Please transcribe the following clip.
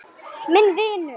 Minn vinur.